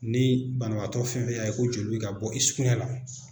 Ni banabaatɔ fɛn o fɛn y'a ye ko joli bɛ ka bɔ i sugunɛ la